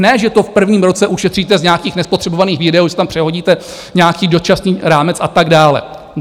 Ne že to v prvním roce ušetříte z nějakých nespotřebovaných výdajů, že si tam přehodíte nějaký dočasný rámec a tak dále!